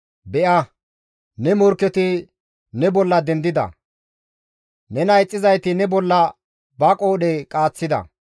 Be7a! Ne morkketi ne bolla dendida; nena ixxizayti ne bolla ba qoodhe qaaththida.